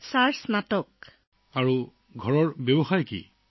sir স্নাতক চূড়ান্তবৰ্ষ লৈকে